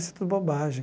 Isso é tudo bobagem.